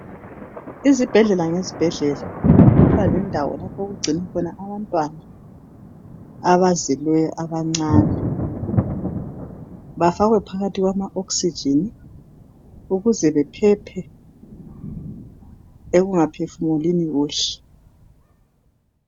Izibhedlela ngezibhedlela kubalendawo yokuvikela abancane, bafakwe phakathi kwama oxygen ukuze bephephe ekungaphefumulini kuhle.